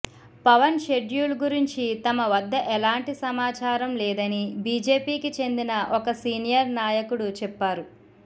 Pawan schedule గురించి తమ వద్ద ఎలాంటి సమాచారం లేదని బీజేపీకి చెందిన ఒక సీనియర్ నాయకుడు చెప్పారు